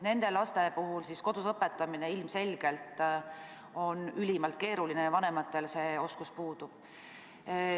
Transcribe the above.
Nende laste puhul kodus õpetamine ilmselgelt on ülimalt keeruline, vanematel see oskus puudub.